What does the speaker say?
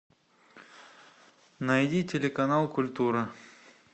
найди телеканал культура